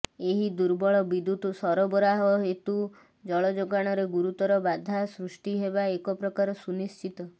ଏହି ଦୁର୍ବଳ ବିଦ୍ୟୁତ ସରବରାହ ହେତୁ ଜଳଯୋଗାଣରେ ଗୁରୁତର ବାଧା ସୃଷ୍ଟି ହେବା ଏକପ୍ରକାର ସୁନିଶ୍ଚିତ